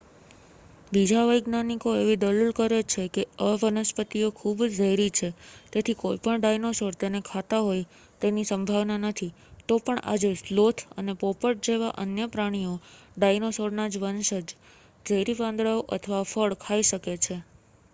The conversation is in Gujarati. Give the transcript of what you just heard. બીજા વૈજ્ઞાનિકો એવી દલીલ કરે છે કે આ વનસ્પતિઓ ખૂબ ઝેરી છે તેથી કોઇપણ ડાઈનોસોર તેને ખાતા હોય તેની સંભાવના નથી તો પણ આજે સ્લોથ અને પોપટ જેવા અન્ય પ્રાણીઓ ડાયનોસોરનાં વંશજ ઝેરી પાંદડાઓ અથવા ફળ ખાઈ શકે છે